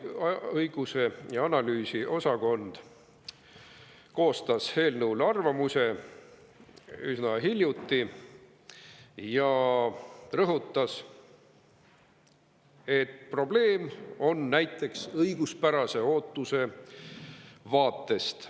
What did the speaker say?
Õigus‑ ja analüüsiosakond koostas eelnõu kohta arvamuse üsna hiljuti ja rõhutas, et probleem on näiteks õiguspärase ootuse vaatest.